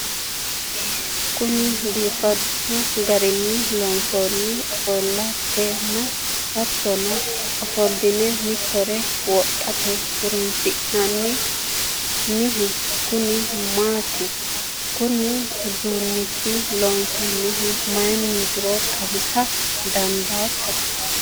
kuni biifadu garinni loonsoonni ofo'latenna hattono ofo'line mitore wodhate horora hosannohu kuni maati? konne uduunicho loonsannihu mayiiniitiro xawisa dandaatto ?